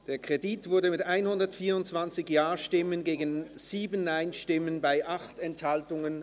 Sie haben den Kredit angenommen, mit 124 Ja- gegen 7 Nein-Stimmen bei 8 Enthaltungen.